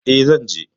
E, zan je.